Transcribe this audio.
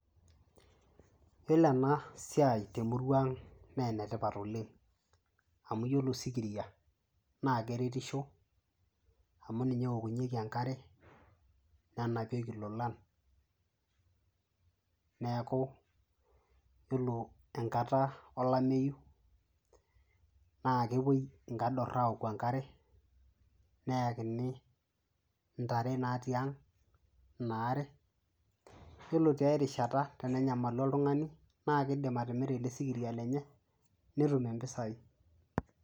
yiolo ena siai temurua ang naa enetipat oleng amu yiolo osikiria naa keretisho amu ninye eokunyieki enkare nenapieki ilolan neeku yiolo enkata olameyu naa kepuoi inkadorr awoku enkare neyakini intare natii ang ina are yiolo tiae rishata tene nyamalu oltung'ani naa kidim atimira ele sikiria lenye netumie impisai.